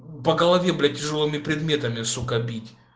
по голове блять тяжёлыми предметами сука бить